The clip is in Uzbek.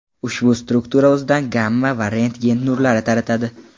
Ushbu struktura o‘zidan gamma va rentgen nurlari taratadi.